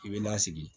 I bɛ lasigi